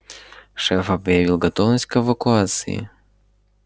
шеф объявил готовность к эвакуации